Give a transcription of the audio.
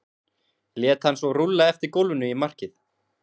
lét hann svo rúlla eftir gólfinu í markið.